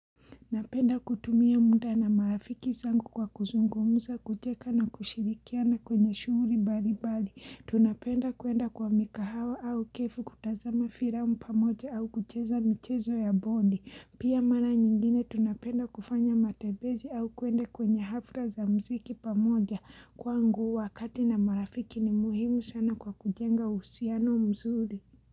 Napenda kutumia muda na marafiki zangu kwa kuzungumza, kujenga na kushirikia na kwenye shughuli mbalimbali. Tunapenda kuenda kwa mikahawa au kefu kutazama firamu pamoja au kucheza michezo ya bondi. Pia mara nyingine tunapenda kufanya matembezi au kuende kwenye hafla za muziki pamoja kwangu wakati na marafiki ni muhimu sana kwa kujenga uhusiano mzuri.